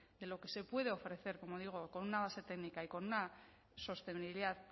de lo que se puede ofrecer como digo con una base técnica y con una sostenibilidad